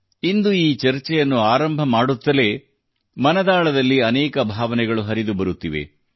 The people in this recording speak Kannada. ಇಂದು ಈ ಚರ್ಚೆಯನ್ನು ಆರಂಭ ಮಾಡುತ್ತಲೇ ಮನದಾಳದಲ್ಲಿ ಅನೇಕ ಭಾವನೆಗಳು ಹರಿದುಬರುತ್ತಿವೆ